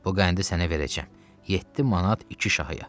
Bu qəndi sənə verəcəm, 7 manat iki şahıya.